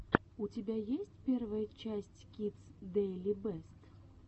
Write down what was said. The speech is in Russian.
у тебя есть первая часть кидс дэйли бэст